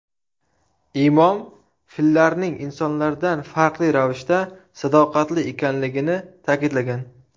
Imom, fillarning insonlardan farqli ravishda sadoqatli ekanligini ta’kidlagan.